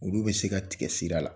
Olu bɛ se ka tigɛ sira la